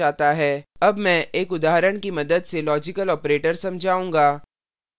अब मैं एक उदाहरण की मदद से logical operators समझाऊँगा